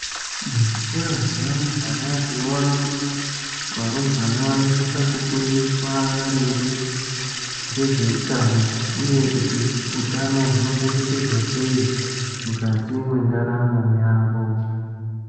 Muzvikora zvevarumbwana tinoona kuti varumbwana vanosise kufundiswa maringe ngezveutano uye kuti utano hunochengetedzwa sei mukati mwendarao yavo.